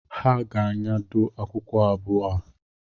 Ha ga-anyado akwụkwọ abụọ a